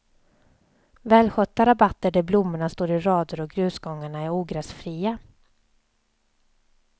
Välskötta rabatter där blommorna står i rader och grusgångarna är ogräsfria.